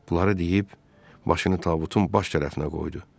Bunları deyib, başını tabutun baş tərəfinə qoydu.